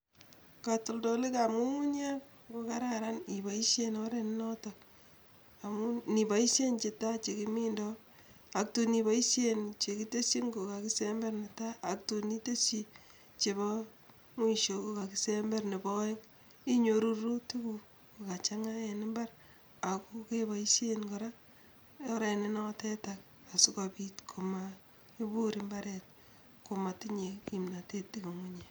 Katoldolikab ngungunyek kokararan iboishe oret notok amun ngipoishe nitan nekimindoi ako tuun ipoishen chekiteshin kokakisember netai ak tuun iteshi chebo mwisho kokakisember nebo aeng inyoru rurutikuk kokachanga eng imbar ako kepoishen kora oret nenotetake asikopit koma ibuur imbaaret komatinye kimnotet ngungunyek.